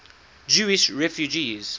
jewish refugees